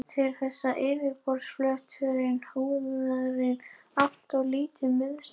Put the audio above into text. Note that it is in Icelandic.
Til þess er yfirborðsflötur húðarinnar alltof lítill miðað við rúmmál fílsins.